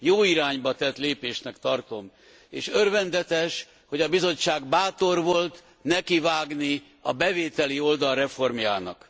Jó irányba tett lépésnek tartom, és örvendetes, hogy a Bizottság bátor volt nekivágni a bevételi oldal reformjának.